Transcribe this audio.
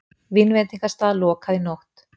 Vínveitingastað lokað í nótt